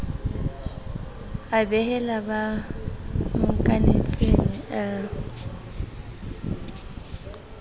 a behela ba mmokanetseng a